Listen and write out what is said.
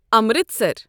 Amritsar